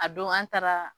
A don an taara